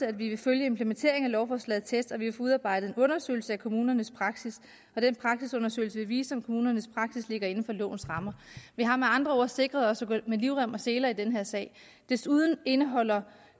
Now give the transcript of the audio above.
at vi vil følge implementeringen af lovforslaget tæt og vil få udarbejdet en undersøgelse af kommunernes praksis den praksisundersøgelse vil vise om kommunernes praksis ligger inden for lovens rammer vi har med andre ord sikret os at vi går med livrem og seler i den her sag desuden indeholder